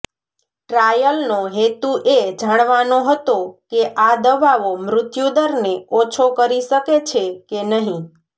ટ્રાયલનો હેતુ એ જાણવાનો હતો કે આ દવાઓ મૃત્યુદરને ઓછો કરી શકે છે કે નહીં